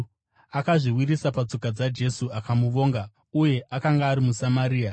Akazviwisira patsoka dzaJesu akamuvonga. Uye akanga ari muSamaria.